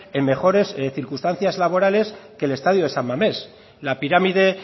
en mejores circunstancias laborales que el estadio de san mamés la pirámide